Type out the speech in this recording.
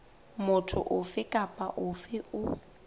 motho ofe kapa ofe o